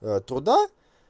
туда